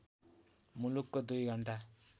मुलुकको २ घण्टा